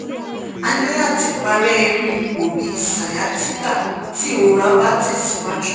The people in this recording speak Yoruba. ani lati pare iru ipo bi sciatica ti irora ba tesiwaju